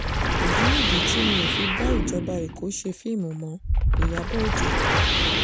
èyí nìdí tí mi ò fi bá ìjọba èkó ṣe fíìmù mọ́ ìyàbọ̀ ọjọ́